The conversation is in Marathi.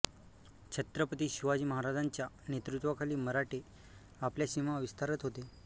छत्रपती शिवाजी महाराजांच्या नेतृत्वाखाली मराठे आपल्या सीमा विस्तारत होते